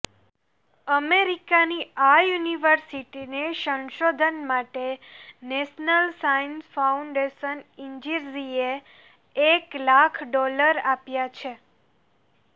અમેરિકાની આ યુનિવર્સિટીને સંશોધન માટે નેશનલ સાયન્સ ફાઉન્ડેશન ઈઁજીર્ઝ્રિ એ એક લાખ ડોલર આપ્યા છે